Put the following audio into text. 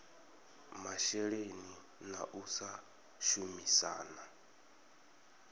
masheleni na u sa shumisana